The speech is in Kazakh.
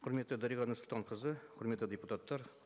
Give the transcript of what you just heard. құрметті дариға нұрсұлтанқызы құрметті депутаттар